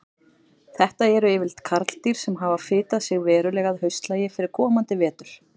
Þetta eru yfirleitt karldýr sem hafa fitað sig verulega að haustlagi fyrir komandi vetur.